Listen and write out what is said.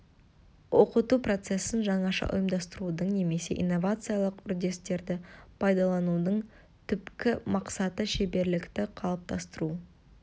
оқыту процесін жаңаша ұйымдастырудың немесе инновациялық үрдістерді пайдаланудың түпкі мақсаты шеберлікті қалыптастыру